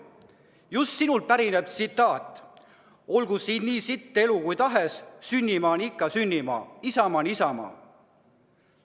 Just sinult pärineb tsitaat: "Olgu siin nii sitt elu kui tahes, sünnimaa on ikka sünnimaa, isamaa on isamaa.